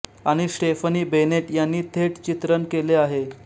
आणि Stephanie Bennett यांनी थेट चित्रण केले आहे